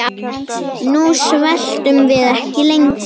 Nú sveltum við ekki lengur.